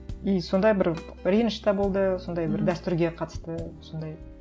и сонда бір реніш те болды сондай бір дәстүрге қатысты сондай